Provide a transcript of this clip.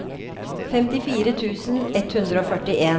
femtifire tusen ett hundre og førtien